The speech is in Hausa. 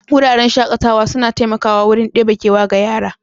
Wuraren shaƙatawa suna taimakwa wurin ɗebe kewa ga yara.